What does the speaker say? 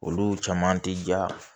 Olu caman ti ja